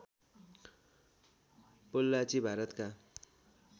पोल्लाची भारतका